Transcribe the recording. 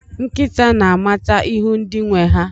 Nkịta na-amata ihu ndị nwe ha.